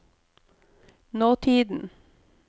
nåtiden